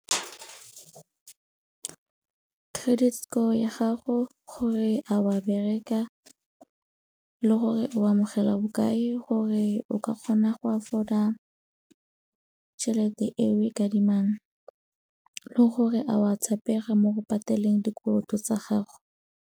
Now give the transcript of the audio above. Credit score ya gago gore a wa bereka le gore o amogela bokae gore o ka kgona go afford-a tšhelete eo o e adimang le gore a o a tshepega mo go pateleng dikoloto tsa gago.